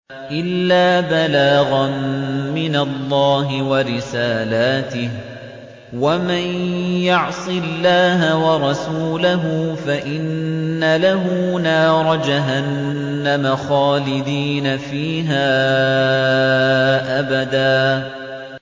إِلَّا بَلَاغًا مِّنَ اللَّهِ وَرِسَالَاتِهِ ۚ وَمَن يَعْصِ اللَّهَ وَرَسُولَهُ فَإِنَّ لَهُ نَارَ جَهَنَّمَ خَالِدِينَ فِيهَا أَبَدًا